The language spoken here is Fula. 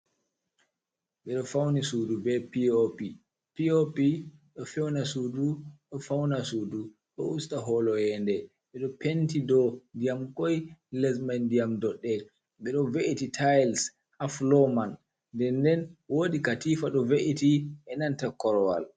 Ɓe ɗo fauni Sudu be P.o.p, P.o.p ɗo feuna Sudu ɗo fauna Sudu.ɗo usta holo iyende be ɗon Penti dou ndiyam koi, Lesmai ndiyam dodɗe. Ɓeɗo ve’iti tayels ha falo man, nden nden wodi Katifa ɗo ve’eti e nanta Korowal.